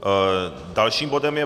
Dalším bodem je